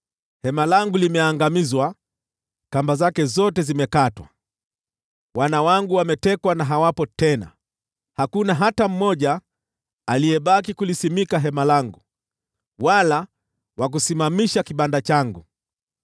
Hema langu limeangamizwa; kamba zake zote zimekatwa. Wana wangu wametekwa na hawapo tena; hakuna hata mmoja aliyebaki wa kusimamisha hema langu wala wa kusimamisha kibanda changu.